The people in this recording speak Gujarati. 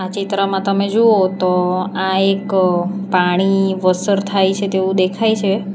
ચિત્રમાં તમે જુઓ તો આ એક પાણી વસર થાય છે તેવું દેખાય છે.